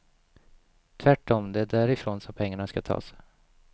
Tvärtom det är därifrån som pengarna ska tas.